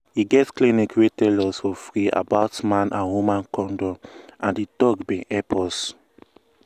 e get clinic wey tell us for free about man and woman condom and di talk bin help us.